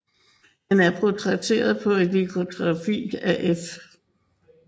Han er portrætteret på et litografi af F